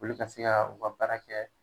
Olu ka se ka u ka baara kɛ.